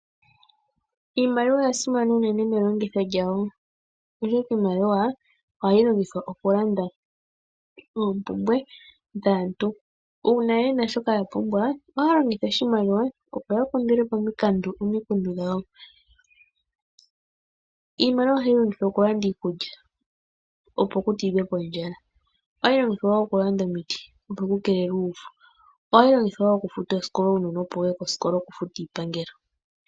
Iimaliwa oyasimana unene melongitho lyawo, oshoka iimaliwa ohayi longithwa okulanda oompumbwe dhaantu. Uuna aantu yena shoka yapumbwa, aantu ohaalongitha iimaliwa opo yakandulepo omikundu dhawo. Iimaliwa ohayi longithwa okulanda iikulya, opo putidhwe ondjala, ohayi longithwa woo okulanda omiti opo ku keelelwe uuvu, ohayi longithwa woo oku futa oosikola opo uunona wuye koosikola nosho woo okufuta iipangelo.